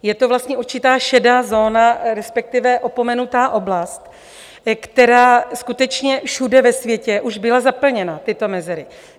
Je to vlastně určitá šedá zóna, respektive opomenutá oblast, která skutečně všude ve světě už byla zaplněna, tyto mezery.